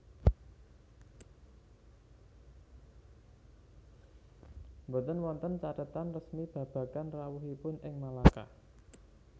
Boten wonten cathetan resmi babagan rawuhipun ing Malaka